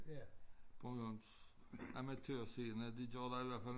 Bornholms amatørscene de taler i hvert fald